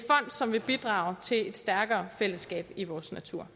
som vil bidrage til et stærkere fællesskab i vores natur